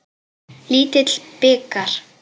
Lítill bikar.